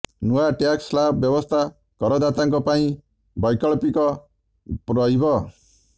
ନୂଆ tax slab ବ୍ୟବସ୍ଥା କରଦାତାଙ୍କ ପାଇଁ ବୈକଳ୍ପିପ ରହିବ